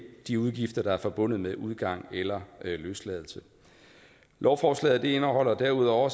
de udgifter der er forbundet med udgang eller løsladelse lovforslaget indeholder derudover